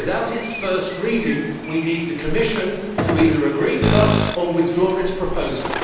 Without its first reading we need the Commission to either agree with us or withdraw its proposal.